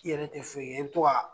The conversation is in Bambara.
I te foye kɛ i be to k'a